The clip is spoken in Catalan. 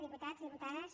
diputats diputades